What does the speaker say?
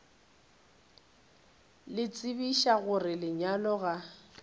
le tsebiša gore lenyaga ga